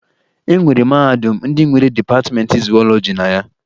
E nwere mahadum ndị nwere dịpatịmeentị zuwọlọji na ya